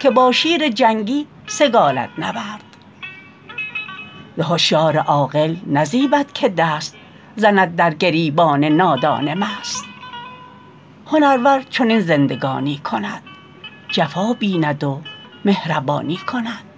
که با شیر جنگی سگالد نبرد ز هشیار عاقل نزیبد که دست زند در گریبان نادان مست هنرور چنین زندگانی کند جفا بیند و مهربانی کند